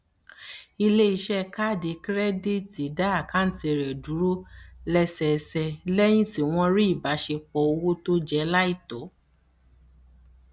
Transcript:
iléiṣẹ kaadi kirẹditi dá àkántì rẹ dúró lẹsẹẹsẹ lẹyìn tí wọn rí ìbáṣepọ owó tó jẹ aláìtó